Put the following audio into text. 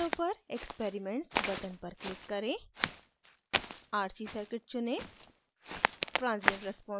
plot window पर experiments button पर click करें rc circuit चुनें